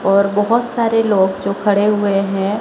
और बहोत सारे लोग जो खड़े हुए हैं--